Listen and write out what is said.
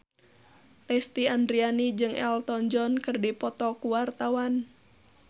Lesti Andryani jeung Elton John keur dipoto ku wartawan